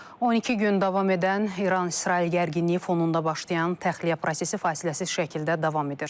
12 gün davam edən İran-İsrail gərginliyi fonunda başlayan təxliyə prosesi fasiləsiz şəkildə davam edir.